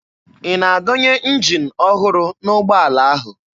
Ị na-adọnye njin ọhụrụ n'ụgbọala ahụ?